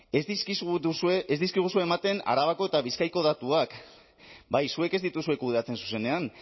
ez dizkiguzue ematen arabako eta bizkaiko datuak bai zuek ez dituzue kudeatzen zuzenean